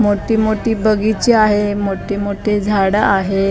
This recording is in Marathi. मोठी मोठी बगीचे आहे मोठेमोठे झाडं आहेत.